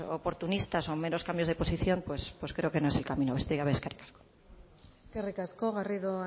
oportunistas o meros cambios de posición pues creo que no es el camino besterik gabe eskerrik asko eskerrik asko garrido